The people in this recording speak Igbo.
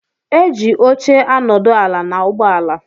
Eji óche anodu ala na ụgbọ ala.